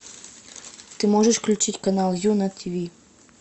ты можешь включить канал ю на ти ви